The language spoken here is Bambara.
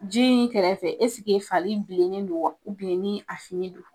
Ji in kɛrɛfɛ ɛseke fari bilennen don wa ni a finen don.